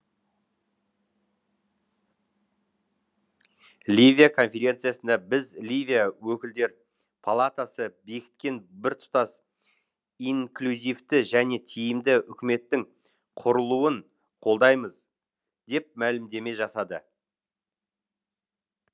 ливия конференциясында біз ливия өкілдер палатасы бекіткен біртұтас инклюзивті және тиімді үкіметтің құрылуын қолдаймыз деп мәлімдеме жасады